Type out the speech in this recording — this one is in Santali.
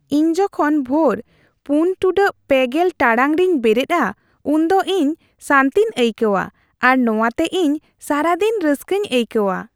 ᱤᱧ ᱡᱚᱠᱷᱚᱱ ᱵᱷᱳᱨ ᱔ᱺ᱓0 ᱴᱟᱲᱟᱝ ᱨᱮᱧ ᱵᱮᱨᱮᱫᱼᱟ ᱩᱱᱫᱚ ᱤᱧ ᱥᱟᱹᱱᱛᱤᱧ ᱟᱹᱭᱠᱟᱹᱣᱟ ᱟᱨ ᱱᱚᱶᱟᱛᱮ ᱤᱧ ᱥᱟᱨᱟ ᱫᱤᱱ ᱨᱟᱹᱥᱠᱟᱹᱧ ᱟᱹᱭᱠᱟᱹᱣᱟ ᱾